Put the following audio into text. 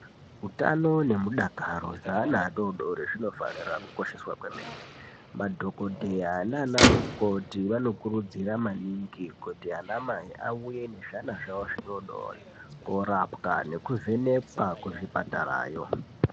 Hutano nemudakaro hwevana vadodori zvinofanira Kukosheswa kwemene madhokodheya nana mukoti vanokurudzirwa maningi kuti ana mai auyr nezvana zvawo zvidodori korapwa nekuvheneka kuzvibhedhlerayo.